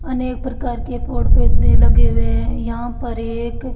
अनेक प्रकार के पोड़ पौधे लगे हुए है यहां पर एक--